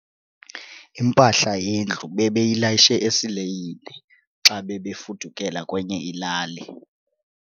Impahla yendlu bebeyilayishe esileyini xa bebefudukela kwenye ilali.